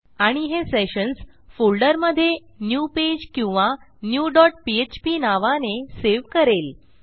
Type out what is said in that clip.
आणि हे सेशन्स फोल्डरमधे न्यू पेज किंवा न्यू डॉट पीएचपी नावाने सेव्ह करेल